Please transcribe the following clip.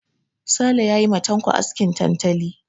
Sale ya yi ma Tanko askin tantali.